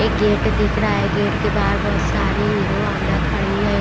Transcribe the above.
एक गेट दिख रहा है गेट के बाहर बहुत सारी हीरो होंडा खड़ी है।